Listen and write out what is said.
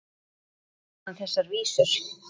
Síðar gerði hann þessar vísur: